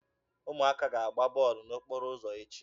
Ụmụaka ga-agba bọọlụ n'okporo ụzọ echi.